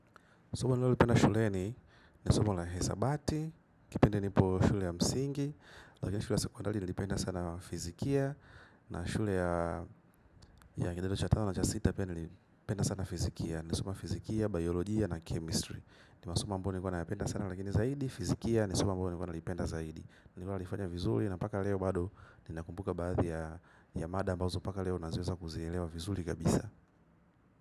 Somo nililipenda shule ni nisuma la hesabati, kipende nipo shule ya msingi, lakini shule ya sekondali nilipenda sana fizikia, na shule ya kidato cha tano na cha sita pia nilipenda sana fizikia, nisoma fizikia, biologia na chemistry. Nimasomo ambao nayapenda sana lakini zaidi, fizikia nisomo ambayo nilipenda zaidi. Nililipenda vizuli na paka leo bado nina kumbuka baadhi ya mada mbazo paka leo na ziweza kuzilewa vizuli kabisa.